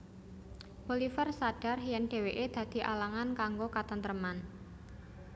Bolivar sadar yen dheweke dadi alangan kanggo katentreman